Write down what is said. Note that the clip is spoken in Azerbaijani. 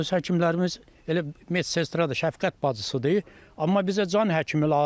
Öz həkimlərimiz elə Metstradır, Şəfqət bacısıdır, amma bizə can həkimi lazımdır.